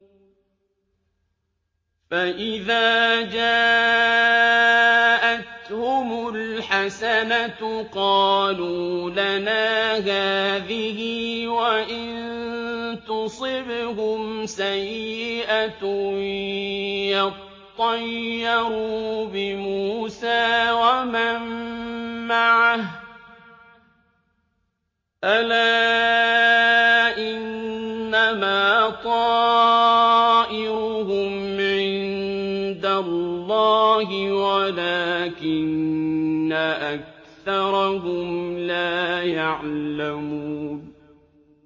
فَإِذَا جَاءَتْهُمُ الْحَسَنَةُ قَالُوا لَنَا هَٰذِهِ ۖ وَإِن تُصِبْهُمْ سَيِّئَةٌ يَطَّيَّرُوا بِمُوسَىٰ وَمَن مَّعَهُ ۗ أَلَا إِنَّمَا طَائِرُهُمْ عِندَ اللَّهِ وَلَٰكِنَّ أَكْثَرَهُمْ لَا يَعْلَمُونَ